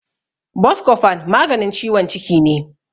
Boskofon maganin ciwon ciki ne.